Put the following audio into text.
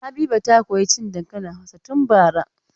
Habiba ta koyi cin dankalin Hausa tun bara.